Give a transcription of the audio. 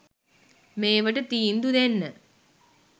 මේවට තීන්දු දෙන්න